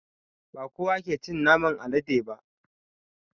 Bakowa ke cin naman alade ba